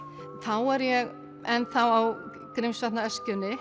er ég enn á